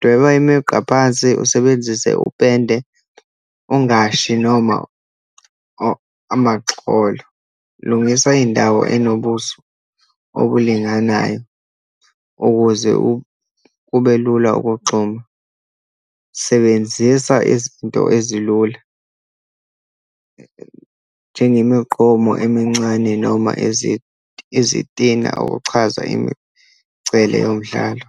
Dweba imigqa phansi, usebenzise upende, ungashi, noma amaxholo, lungisa indawo enobuso obulinganayo ukuze kube lula ukugxuma. Sebenzisa izinto ezilula, njengemigqomo emincane, noma izitina ukuchaza imigcele yomdlalo.